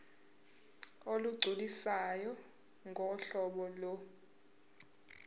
olugculisayo ngohlobo lo